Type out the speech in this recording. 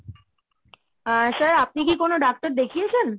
আহ sir আপনি কি কোন doctor দেখিয়েছেন?